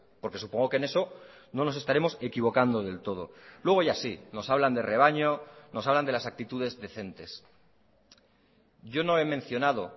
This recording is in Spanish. porque supongo que en eso no nos estaremos equivocando del todo luego ya sí nos hablan de rebaño nos hablan de las actitudes decentes yo no he mencionado